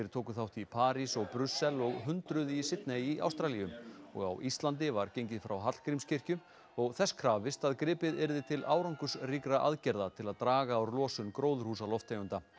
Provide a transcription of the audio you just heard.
tóku þátt í París og Brussel og hundruð í Sydney í Ástralíu og á Íslandi var gengið frá Hallgrímskirkju og þess krafist að gripið yrði til árangursríkra aðgerða til að draga úr losun gróðurhúsalofttegunda